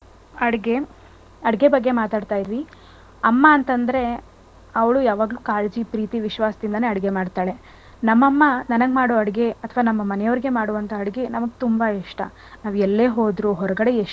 ಅಡ್ಗೆ ಅಡ್ಗೆ ಬಗ್ಗೆ ಮಾತಾಡ್ತಾ ಇದ್ವಿ ಅಮ್ಮ ಅಂತ ಅಂದ್ರೆ ಅವ್ಳು ಯಾವಾಗ್ಲೂ ಕಾಳಜಿ ಪ್ರೀತಿ ವಿಶ್ವಾಸದಿಂದನೇ ಅಡ್ಗೆ ಮಾಡ್ತಾಳೆ. ನಮ್ ಅಮ್ಮ ನನಗ್ ಮಾಡು ಅಡ್ಗೆ ಅಥವಾ ನಮ್ ಮನೆ ಅವ್ರ್ಗೆ ಮಾಡೋ ಅಡ್ಗೆ ನಮ್ಗೆ ತುಂಬ ಇಷ್ಟ. ನಾವ್ ಎಲ್ಲೇ ಹೋದ್ರು ಹೊರ್ಗಡೆ ಎಷ್ಟೇ,